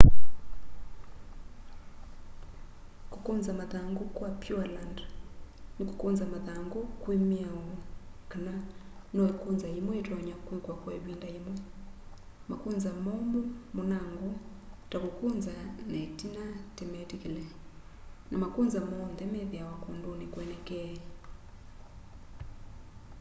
kukunza mathangu kwa pureland ni kukunza mathangu kwi miao kana no ikunza yimwe yitonya kwikwa kwa ivinda yimwe makunza momu munango ta kukunza na itina timetikile na makunza monthe methiawa kunduni kwenekee